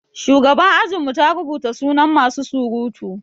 Shugaban ajin mu ta rubuta sunan masu surutu.